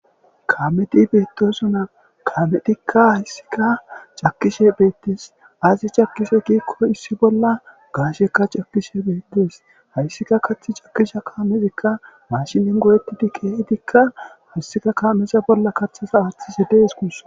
Kameti beetosona kametikka hayssika cakishe beettes asi cakishe giikko issibolla gaashekka cakishe beetes hayssika kathcakisha kaamezikka maashinin goyetidi keehedikka hayssika kaamesa bolla kathesa aaththise dees gus.